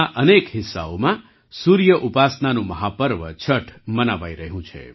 આજે દેશના અનેક હિસ્સાઓમાં સૂર્ય ઉપાસનાનું મહાપર્વ છઠ મનાવાઈ રહ્યું છે